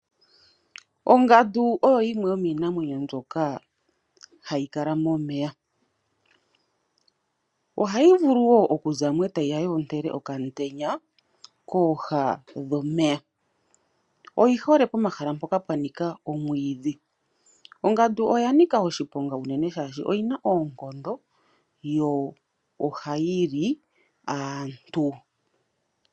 Ongandu oyo yimwe yomiinamwenyo mbyoka hayi kala momeya. Ohayi vulu wo oku zamo e ta yi ya yi ontele okaantenya kooha dhomeya. Oyi hole pomahala mpoka pwa nika omwiidhi. Ongandu oya nika oshiponga unene shaashi oyina oonkondo, yo ohayi li aantu.